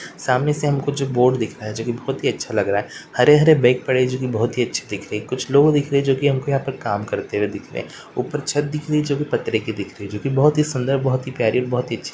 सामने से हमको जो बोर्ड दिख रहा है जोकि बहुत ही अच्छा लग रहा है हरे-हरे बैग पड़े हैं जोकि बहुत ही अच्छे दिख रहे हैं कुछ लोग दिख रहे हैं जो कि यहाँ पर काम करते हुए दिख रहे हैं ऊपर छत दिख रही है जोकि पत्तरे की दिख रही है जोकि बहुत ही सुंदर बहुत ही प्यारी बहुत ही अच्छी --